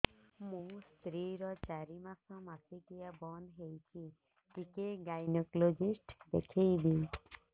ମୋ ସ୍ତ୍ରୀ ର ଚାରି ମାସ ମାସିକିଆ ବନ୍ଦ ହେଇଛି ଟିକେ ଗାଇନେକୋଲୋଜିଷ୍ଟ ଦେଖେଇବି